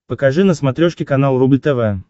покажи на смотрешке канал рубль тв